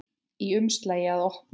Í umslagi að opna.